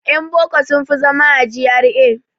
Yan boko sun fi zama a GRA.